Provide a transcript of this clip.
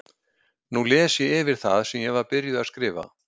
Nú les ég yfir það sem ég var byrjuð að skrifa.